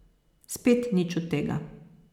Spet nič od tega.